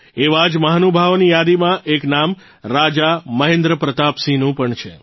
એવા જ મહાનુભાવોની યાદીમાં એક નામ રાજા મહેન્દ્ર પ્રતાપસિંહનું પણ છે